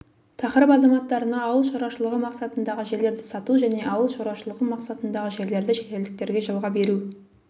тақырып азаматтарына ауыл шаруашылығы мақсатындағы жерлерді сату және ауыл шаруашылығы мақсатындағы жерлерді шетелдіктерге жалға беру